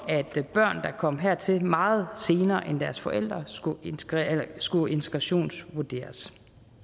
at børn der kom hertil meget senere end deres forældre skulle skulle integrationsvurderes